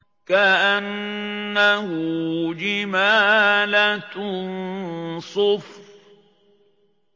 كَأَنَّهُ جِمَالَتٌ صُفْرٌ